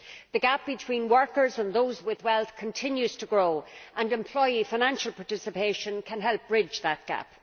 The gap between workers and those with wealth continues to grow, and employee financial participation can help bridge that gap.